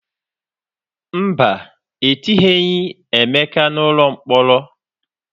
Mba, etinyeghị Emeka n'ụlọ mkpọrọ.